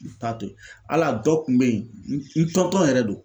T'a to al'a dɔ kun bɛ yen n yɛrɛ don.